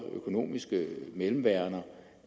økonomiske mellemværender